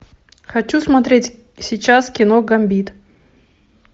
хочу смотреть сейчас кино гамбит